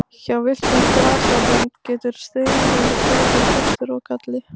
Hjá villtum grasætum getur styggð verið bæði kostur og galli.